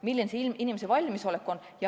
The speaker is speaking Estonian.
Milline on inimeste valmisolek?